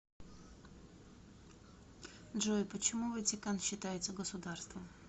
джой почему ватикан считается государством